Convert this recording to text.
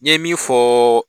Ye min fɔ